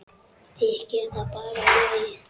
Þykir það bara í lagi.